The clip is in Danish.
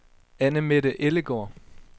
Anne-Mette Ellegaard